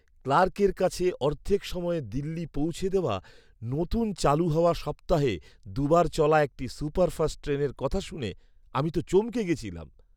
ক্লার্কের কাছে অর্ধেক সময়ে দিল্লি পৌঁছে দেওয়া নতুন চালু হওয়া সপ্তাহে দু'বার চলা একটা সুপারফাস্ট ট্রেনের কথা শুনে আমি তো চমকে গেছিলাম!